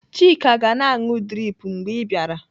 Chika ga-na anụ drip mgbe ị bịara.